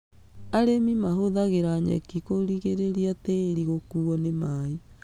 Arĩmi mahũthagĩra nyeki kũrigĩrĩria tĩĩri gũkuo nĩ maaĩ.